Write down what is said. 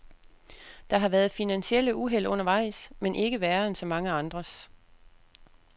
Der har været finansielle uheld undervejs, men ikke værre end så mange andres.